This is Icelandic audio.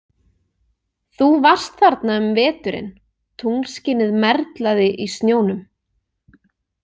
Þú varst þarna um veturinn, tunglskinið merlaði í snjónum.